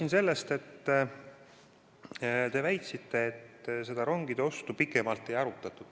Ma alustan teie väitest, et rongide ostu pikemalt ei arutatud.